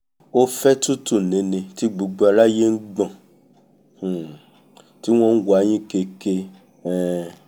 ó fẹ́ tútù nini tí gbogbo aráyé ń gbọ̀n um tí wọ́n ń wa'yín keke um